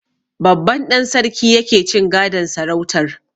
Babban ɗan sarki yake cin gadon sarautar.